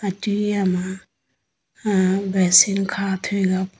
atudi ma basin kha athuyi ga po.